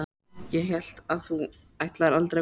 Ég hélt að þú ætlaðir aldrei að koma.